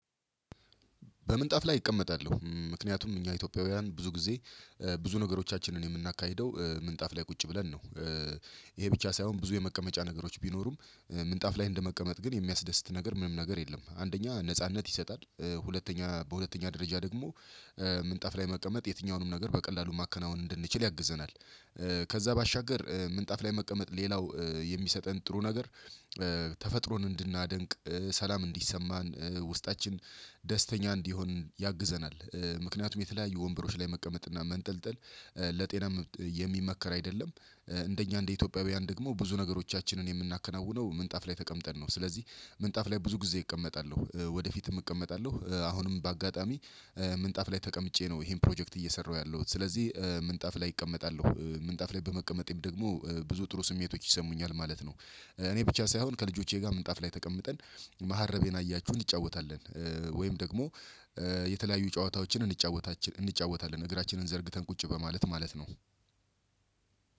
በምንጣፍ ላይ እቀመጣለሁ ምክንያቱም እኛ ኢትዮጵያውያን ብዙ ጊዜ ብዙ ነገሮቻችንን የምናካሂደው ምንጣፍ ላይ ቁጭ ብለን ነው። ይሄ ብቻ ሳይሆን ብዙ የመቀመጫ ነገሮች ቢኖሩም ምንጣፍ ላይ እንደመቀመጥ ግን የሚያስደስት ነገር ምንም ነገር የለም። አንደኛ ነጻነት ይሰጣል ሁለተኛ በሁለተኛ ደረጃ ደግሞ ምንጣፍ ላይ መቀመጥ የትኛውንም ነገር በቀላሉ ማከናወን እንድንችል ያግዘናል። ከዛ ባሻገር ምንጣፍ ላይ መቀመጥ ሌላው የሚሰጠን ጥሩ ነገር። ተፈጥሮን እንድናደንቅ ሰላም እንዲሰማን ውስጣችን ደስተኛ እንዲሆን ያግዘናል። ምክንያቱም የተለያዩ ወንበሮች ላይ መቀመጥ እና መንጠልጠል ለጤና የሚመከር አይደለም። እንደኛ እንደ ኢትዮጵያውያን ደግሞ ብዙ ነገሮቻችንን የምናከናውነው ምንጣፍ ላይ ተቀምጠን ነው። ስለዚህ ምንጣፍ ላይ ብዙ ጊዜ እቀመጣለሁ። ወደፊትም እቀመጣለሁ አሁንም በአጋጣሚ ምንጣፍ ላይ ተቀምጬ ነው። ይሄን ፕሮጀክት እየሰራሁ ያለሁት ስለዚህ ምንጣፍ ላይ እቀመጣለሁ ምንጣፍ ላይ በመቀመጤም ደግሞ ብዙ ጥሩ ስሜቶች ይሰሙኛል ማለት ነው። እኔ ብቻ ሳይሆን ከልጆቼ ጋር ምንጣፍ ላይ ተቀምጠን መሀረቤን አያችሁ እንጫወታለን ወይም ደግሞ የተለያዩ ጨዋታዎችን እንጫወታለን እግራችንን ዘርግተን ቁጭ በማለት ማለት ነው።